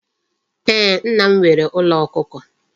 Ee, Nna m nwere Ulo Okuko